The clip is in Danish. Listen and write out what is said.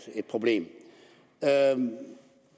problem